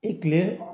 I kile